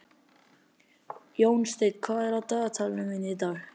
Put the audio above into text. Jónsteinn, hvað er á dagatalinu mínu í dag?